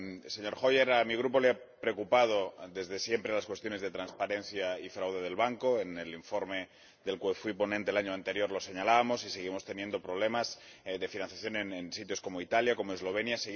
Señor Hoyer, a mi Grupo le han preocupado desde siempre las cuestiones de transparencia y fraude del Banco. En el informe del cual fui ponente el año anterior lo señalábamos y seguimos teniendo problemas de financiación en sitios como Italia, como Eslovenia.